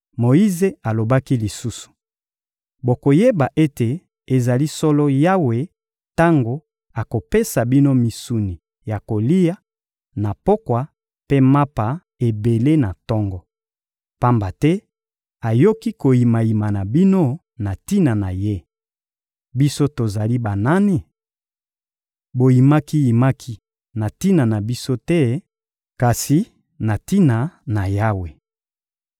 Moyize alobaki lisusu: — Bokoyeba ete ezali solo Yawe tango akopesa bino misuni ya kolia na pokwa mpe mapa ebele na tongo. Pamba te ayoki koyimayima na bino na tina na Ye. Biso tozali banani? Boyimaki-yimaki na tina na biso te, kasi na tina na Yawe.